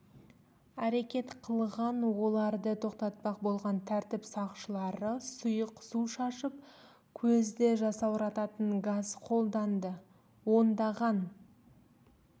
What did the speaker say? әрекет қылған оларды тоқтатпақ болған тәртіп сақшылары сұйық су шашып көзді жасаурататын газ қолданды ондаған